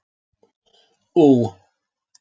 Ú